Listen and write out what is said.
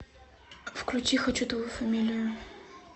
включи хочу твою фамилию